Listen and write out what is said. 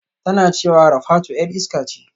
Tana cewa Rafatu 'yar iska ce